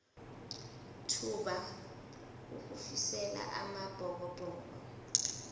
thuba ukufisela amabhokobhoko